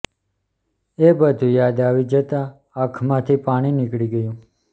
એ બધુ યાદ આવી જતાં આંખ માથી પાણી નીકળી ગયું